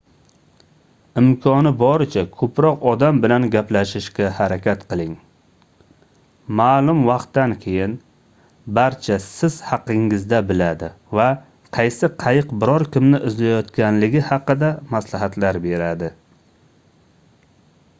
imkoni boricha koʻproq odam bilan gaplashishga harakat qiling maʼlum vaqtdan keyin barcha siz haqingizda biladi va qaysi qayiq biror kimni izlayotganligi haqida maslahatlar beradi